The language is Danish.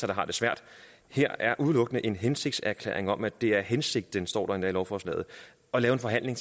der har det svært her er udelukkende en hensigtserklæring om at det er hensigten det står der endda i lovforslaget at lave en forhandling